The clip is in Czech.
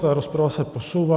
Ta rozprava se posouvá.